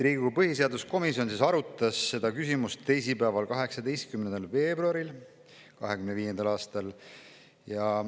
Riigikogu põhiseaduskomisjon arutas seda küsimust teisipäeval, 18. veebruaril 2025. aastal.